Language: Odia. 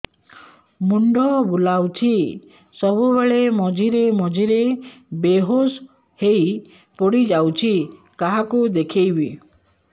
ମୁଣ୍ଡ ବୁଲାଉଛି ସବୁବେଳେ ମଝିରେ ମଝିରେ ବେହୋସ ହେଇ ପଡିଯାଉଛି କାହାକୁ ଦେଖେଇବି